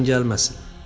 ona yazığın gəlməsin.